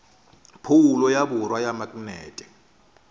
phoulo ya borwa ya maknete